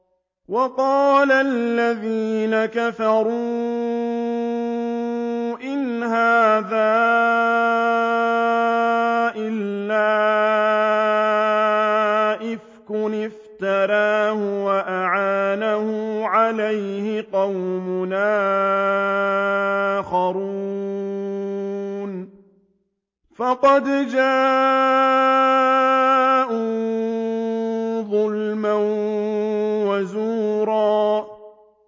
وَقَالَ الَّذِينَ كَفَرُوا إِنْ هَٰذَا إِلَّا إِفْكٌ افْتَرَاهُ وَأَعَانَهُ عَلَيْهِ قَوْمٌ آخَرُونَ ۖ فَقَدْ جَاءُوا ظُلْمًا وَزُورًا